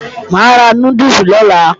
Mà á ra núdùsì lọ́la